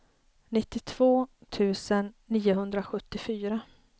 nittiotvå tusen niohundrasjuttiofyra